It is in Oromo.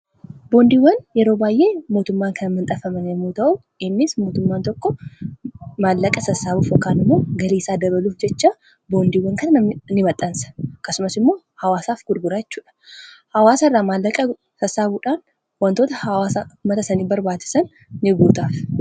boondiiwwan yeroo baay'ee mootummaan kan maxxanfamanyoo ta'u innis mootummaan tokko maallaqa sassaabuu ofeegganno galiiisaa dabaluuf jecha boondiiwwan kanaa ni maxxansa. akkasumas immoo hawaasaaf gurguraachuudha hawaasa irraa maallaqa sassaabuudhaan. wantoota hawaaa mataa saniif barbaachisan ni guutaaf